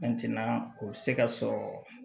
o bɛ se ka sɔrɔ